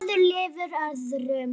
Maður lifir öðrum.